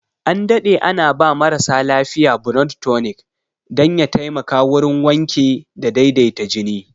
An daɗe ana ba marasa lafiya blood tunic dan ya taimaka wurin wanke da daidaita jini